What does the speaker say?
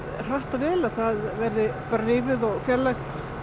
hratt og vel að það verði rifið og fjarlægt